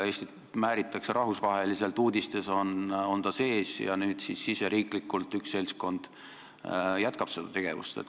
Eestit määritakse rahvusvaheliselt, uudistes oleme sees, ja nüüd riigis endas üks seltskond jätkab seda tegevust.